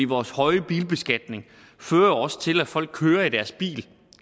vores høje bilbeskatning fører også til at folk kører i deres bil